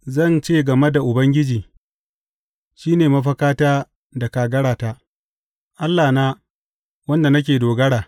Zan ce game da Ubangiji, Shi ne mafakata da kagarata, Allahna, wanda nake dogara.